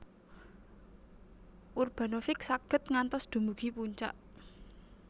Urbanovic saged ngantos dumugi puncak